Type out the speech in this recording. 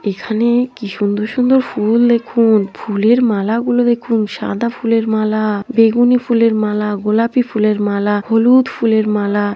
এখানে কি সুন্দর সুন্দর ফুল দেখুন ফুলের মালা গুলো দেখুন সাদা ফুলের মালা -আ বেগুনি ফুলের মালা -আ গোলাপি ফুলের মালা হলু -উ-দ ফুলের মালা।